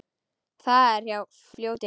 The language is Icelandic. Það er hjá fljóti.